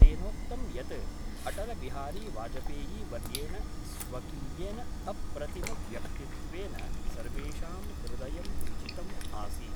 तेनोक्तं यत् अटलबिहारीवाजपेयीवर्येण स्वकीयेन अप्रतिमव्यक्तित्वेन सर्वेषां हृदयं विजितम् आसीत्।